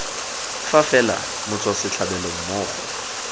fa fela motswa setlhabelo mmogo